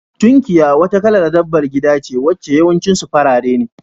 Tunkiya wata kalar dabbabar gida ce wacce yawancin su farare ne.